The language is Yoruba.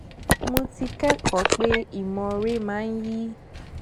mo ti kẹkọọ pé ìmoore máa ń yí